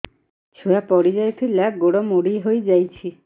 ଛୁଆ ପଡିଯାଇଥିଲା ଗୋଡ ମୋଡ଼ି ହୋଇଯାଇଛି